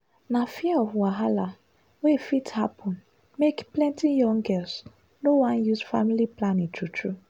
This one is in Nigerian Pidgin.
na fear of wahala wey fit happen make plenty young girls no wan use family planning true true.